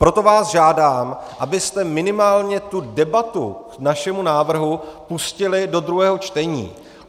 Proto vás žádám, abyste minimálně tu debatu k našemu návrhu pustili do druhého čtení.